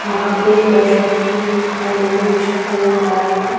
यहाँ पे एक बस रखी हुई दिखाई दे रही है जिसका कलर व्हाइट है।